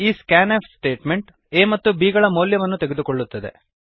ಈ scanf statement a ಮತ್ತು b ಗಳ ಮೌಲ್ಯವನ್ನು ತೆಗೆದುಕೊಳ್ಳುತ್ತದೆ